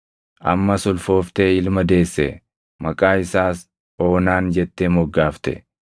Ammas ulfooftee ilma deesse; maqaa isaas Oonaan jettee moggaafte.